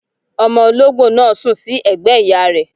Omo olóńgbò náà sùn sí ẹ̀gbẹ́ ìyá rẹ